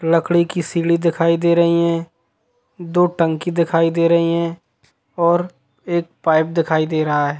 लकड़ी की सीली दिखाई दे रही है दो टंकी दिखाई दे रही है और एक पाइप दिखाई दे रहा है।